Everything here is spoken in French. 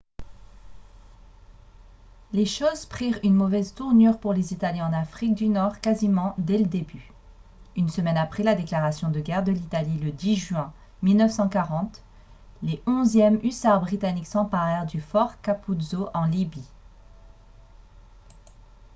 les choses prirent une mauvaise tournure pour les italiens en afrique du nord quasiment dès le début une semaine après la déclaration de guerre de l'italie le 10 juin 1940 les 11e hussards britanniques s'emparèrent du fort capuzzo en libye